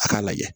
A k'a lajɛ